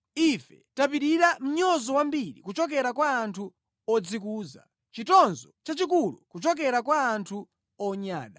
Ife tapirira mnyozo wambiri kuchokera kwa anthu odzikuza, chitonzo chachikulu kuchokera kwa anthu onyada.